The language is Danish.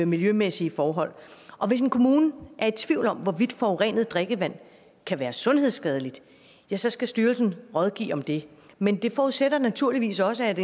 miljømæssige forhold hvis en kommune er i tvivl om hvorvidt forurenet drikkevand kan være sundhedsskadeligt ja så skal styrelsen rådgive om det men det forudsætter naturligvis også at